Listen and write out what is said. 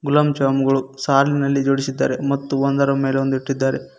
ಗುಲಾಬ್ ಜಾಮೂನ್ ಗಳು ಸಾಲಿನಲ್ಲಿ ಜೋಡಿಸಿದ್ದಾರೆ ಮತ್ತು ಒಂದರ ಮೇಲೆ ಒಂದು ಇಟ್ಟಿದ್ದಾರೆ.